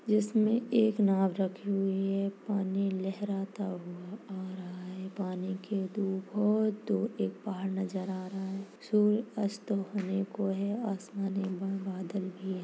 जिसमे एक नाव रखी हुई है पानी लहराता हुआ आ रहा है पानी के दूर बहुत दूर एक पहाड़ नजर आ रहा है सूर्य अस्त होने को हैं आसमान में बादल भी हैं।